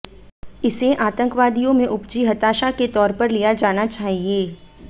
इसे आतंकवादियों में उपजी हताशा के तौर पर लिया जाना चाहिए